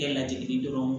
Kɛ lajigi dɔrɔn